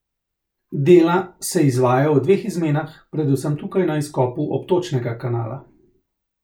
Dela se izvajajo v dveh izmenah, predvsem tukaj na izkopu obtočnega kanala.